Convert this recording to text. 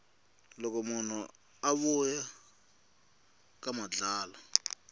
loko munhu a vuya ka madlala